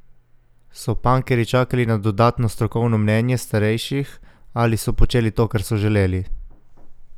So pankerji čakali na dodatno strokovno mnenje starejših ali so počeli to, kar so želeli?